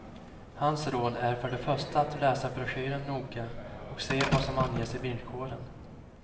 Hans råd är för det första att läsa broschyren noga och se vad som anges i villkoren.